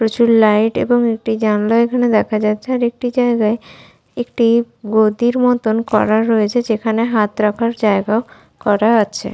প্রচুর লাইট এবং একটি জানলা এখানে দেখা যাচ্ছে আর একটি জায়গায় একটি গদির মতন করা রয়েছে যেখানে হাত রাখার জায়গা ও করা আছে।